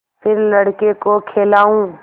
फिर लड़के को खेलाऊँ